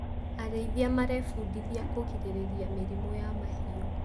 Arĩithia marebundithia kũrigĩrĩria mĩrimũ ya mahiũ.